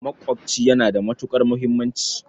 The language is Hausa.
Maƙwaɓci yana da matuƙar muhimmanci.